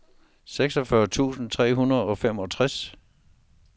seksogfyrre tusind tre hundrede og femogtres